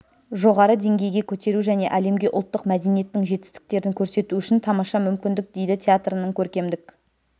жоғары деңгейге көтеру және әлемге ұлттық мәдениеттің жетістіктерін көрсету үшін тамаша мүмкіндік дейді театрының көркемдік